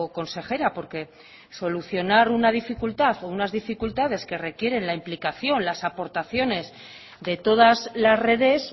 consejera porque solucionar una dificultad o unas dificultades que requieren la implicación las aportaciones de todas las redes